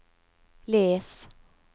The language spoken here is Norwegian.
les